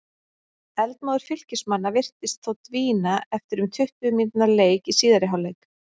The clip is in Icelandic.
Eldmóður Fylkismanna virtist þó dvína eftir um tuttugu mínútna leik í síðari hálfleik.